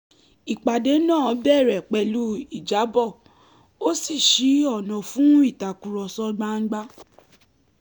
ìpàdé náà bẹ̀rẹ̀ pẹ̀lú ìjábọ̀ ó sì ṣí ọ̀nà fún ìtàkurọ̀sọ gbangba